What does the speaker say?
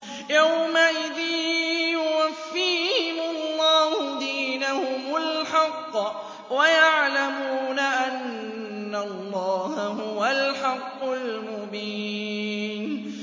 يَوْمَئِذٍ يُوَفِّيهِمُ اللَّهُ دِينَهُمُ الْحَقَّ وَيَعْلَمُونَ أَنَّ اللَّهَ هُوَ الْحَقُّ الْمُبِينُ